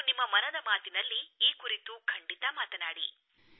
ನೀವು ನಿಮ್ಮ ಮನದ ಮಾತಿನಲ್ಲಿ ಈ ಕುರಿತು ಖಂಡಿತ ಮಾತನಾಡಿ